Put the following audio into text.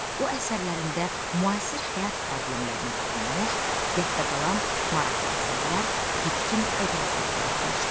O əsərlərində müasir həyat problemlərinə toxunmuş, yadda qalan maraqlı əsərlər, bitkin obrazlar yaratmışdı.